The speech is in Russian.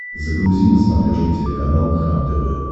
загрузи на смотрешке телеканал кхлм тв